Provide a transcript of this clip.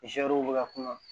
bɛ ka kunna